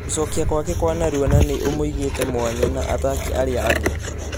Gũcogia gwakekwanarua na ....nĩ ũmũigĩte mwanya na ataki arĩa angĩ.